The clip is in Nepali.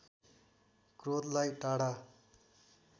क्रोधलाई टाढा